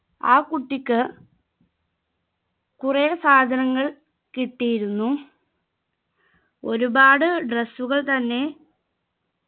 ആ കുട്ടിക് കുറെ സാധനങ്ങൾ കിട്ടിയിരുന്നു ഒരുപാട് dress കൾ തന്നെ